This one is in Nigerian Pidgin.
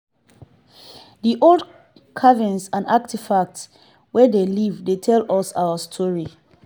di old carvings and artifacts wey dem leave dey tell us our history.